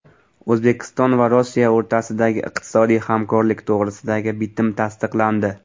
O‘zbekiston va Rossiya o‘rtasidagi iqtisodiy hamkorlik to‘g‘risidagi bitim tasdiqlandi.